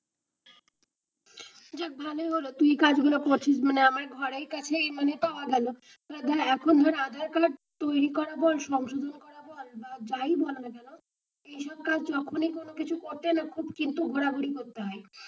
যে ভালোই হলো তুই কাজ গুলো করছিস আমার ঘরের কাছেই মানে পাওয়া গেলো তাছাড়া এখন আধার কার্ড তৈরী করা বল সংশোধন করা বল বা যাই হোক এই সব কাজ যখুনি কিছু করতে গেল খুব কিন্তু ঘোড়া ঘুড়ি করতে হয়.